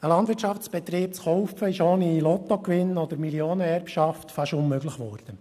Einen Landwirtschaftsbetrieb zu kaufen, ist ohne Lottogewinn oder Millionenerbschaft fast unmöglich geworden.